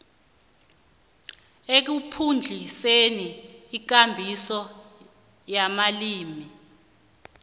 ekuphuhliseni ikambiso yamalimi